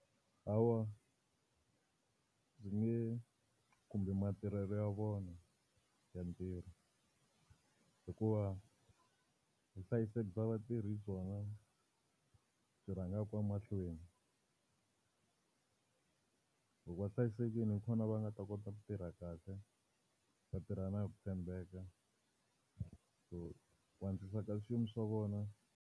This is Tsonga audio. Lawa ndzi nge khumbi matirhelo ya vona ya ntirho. Hikuva vuhlayiseki bya vatirhi hi byona byi rhangaka mahlweni. Loko va hlayisekile hi kona va nga ta kota ku tirha kahle va tirha na hi ku tshembeka. So ku antswisa ka xiyimo swa vona.